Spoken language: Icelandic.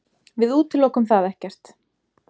Við útilokum það ekkert.